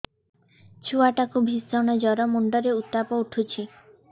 ଛୁଆ ଟା କୁ ଭିଷଣ ଜର ମୁଣ୍ଡ ରେ ଉତ୍ତାପ ଉଠୁଛି